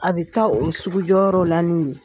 A bɛ taa o sugu jɔyɔrɔ la n'u ye.